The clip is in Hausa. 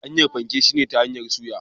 Hanyar fanke shine ta hanyar soya.